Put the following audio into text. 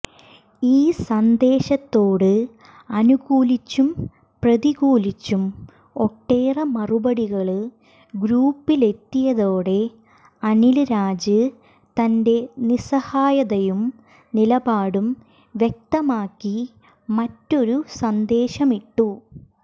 ഈ സന്ദേശത്തോട് അനൂകൂലിച്ചും പ്രതികൂലിച്ചും ഒട്ടേറെ മറുപടികള് ഗ്രൂപ്പിലെത്തിയതോടെ അനില് രാജ് തന്റെ നിസഹായതയും നിലപാടും വ്യക്തമാക്കി മറ്റൊരു സന്ദേശമിട്ടു